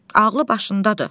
Ağlı başındadır.